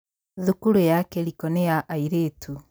Thukuru ya Kiriko nĩ ya airĩtu.